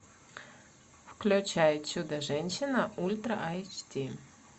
включай чудо женщина в ультра айч ди